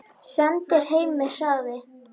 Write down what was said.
Sendir heim með hraði